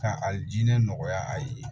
Ka a jinɛ nɔgɔya a ye